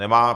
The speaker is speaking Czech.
Nemá.